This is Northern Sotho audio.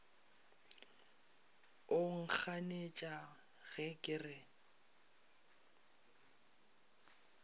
o nkganetša ge ke re